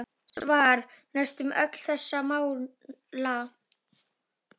Svar: Næstum öll þessara mála